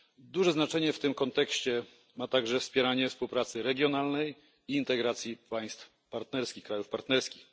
Duże znaczenie w tym kontekście ma także wspieranie współpracy regionalnej i integracji państw partnerskich.